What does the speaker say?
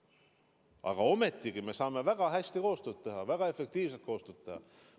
Aga ometigi me saame väga hästi koostööd teha, väga efektiivselt koostööd teha.